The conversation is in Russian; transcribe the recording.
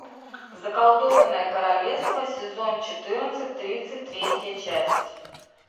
заколдованное королевство сезон четырнадцать тридцать третья часть